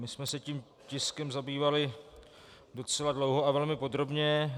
My jsme se tím tiskem zabývali docela dlouho a velmi podrobně.